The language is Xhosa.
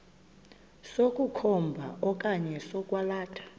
sokukhomba okanye sokwalatha